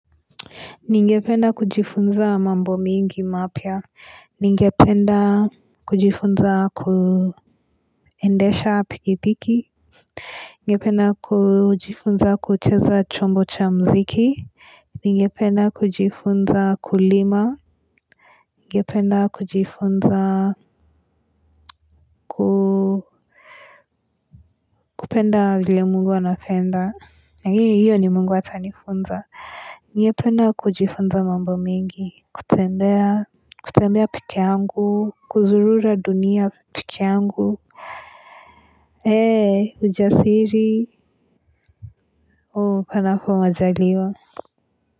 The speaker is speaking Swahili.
Ningependa kujifunza mambo mingi mapya Ningependa kujifunza kuendesha pikipiki ningependa kujifunza kucheza chombo cha mziki Ningependa kujifunza kulima ningependa kujifunza kupenda vile mungu anapenda. Lakini hiyo ni mungu atanifunza. Ningependa kujifunza mambo mingi, kutembea kutembea pekeangu kuzurura dunia pekeangu Eee ujasiri O panapo majaliwa.